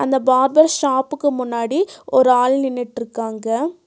அந்த பார்பர் ஷாப்புக்கு முன்னாடி ஒரு ஆள் நின்னுட்ருக்காங்க.